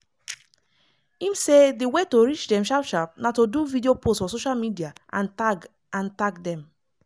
im say di way to reach dem sharp sharp na to do video post for social media and tag and tag dem.